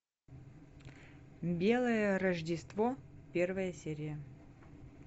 белое рождество первая серия